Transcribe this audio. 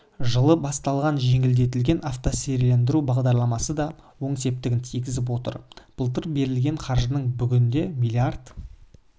жылы басталған жеңілдетілген автонесиелендіру бағдарламасы да оң септігін тигізіп отыр былтыр берілген қаржының бүгінде миллиард